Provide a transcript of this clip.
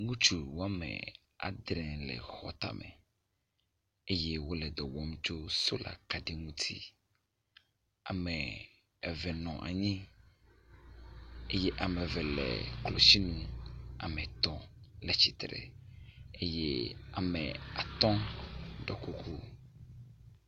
Ŋutsu wɔme adre le xɔtame eye wo le dɔ wɔm tso sola kaɖi ŋutsi. Ame eve nɔ anyi eye ame eve le klotsinu. Ame etɔ̃ le tsitre eye ame atɔ dɔ koklo.